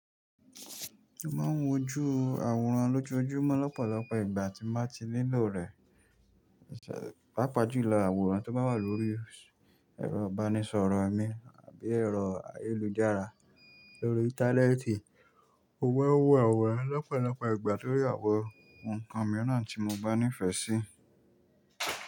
Mo ma ń wo ju àwòrán lójú ojú mọ́ lọ́pọ̀lọ́pọ̀ ìgbà tí mo ma ti nílò rẹ̀, pàápàá jù ìlò àwòrán tó ba wà lórí ẹ̀rọ ìbánisọ̀rọ̀ mi àbí ẹ̀rọ ayélujára lórí íńtánẹ́ẹ̀tì. Mo wẹ́ wọ ẹ̀wọ̀ lọ́pọ̀lọ́pọ̀ ìgbà torí àwọ̀ ǹǹkan mìíràn tí mo gbánífẹ̀ẹ́ sí.